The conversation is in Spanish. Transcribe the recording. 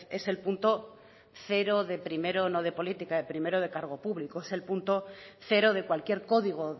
es el punto cero de primero no de política de primero de cargo público es el punto cero de cualquier código